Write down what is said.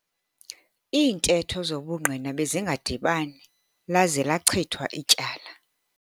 Iintetho zobungqina bezingadibani laze lachithwa ityala.